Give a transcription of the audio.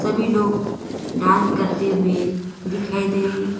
सभी लोग डांस करते हुए दिखाई दे रहे--